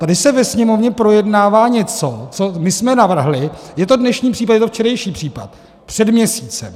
Tady se ve Sněmovně projednává něco, co my jsme navrhli - je to dnešní případ, je to včerejší případ - před měsícem.